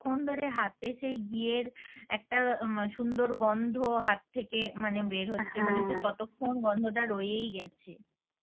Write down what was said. ক্ষন ধরে হাতে সেই ঘি এর একটা সুন্দর গন্ধ হাত থেকে মানে বের কতক্ষন গন্ধটা রয়েই গেছে।